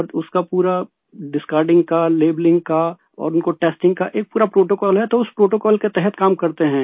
और उसका पूरा डिस्कार्डिंग का लैबेलिंग का और उनको टेस्टिंग का एक पूरा प्रोटोकॉल है तो उस प्रोटोकॉल के तहत काम करते हैं